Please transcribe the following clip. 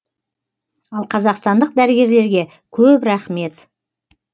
ал қазақстандық дәрігерлерге көп рахмет